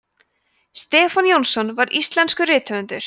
stefán jónsson var íslenskur rithöfundur